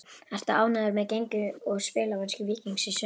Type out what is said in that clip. Ertu ánægður með gengi og spilamennsku Víkings í sumar?